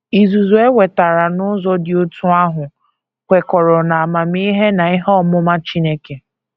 Izuzu e nwetara n’ụzọ dị otú ahụ kwekọrọ n’amamihe na ihe ọmụma Chineke.